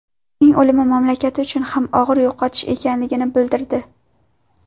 Uning o‘limi mamlakati uchun ham og‘ir yo‘qotish ekanligini bildirdi.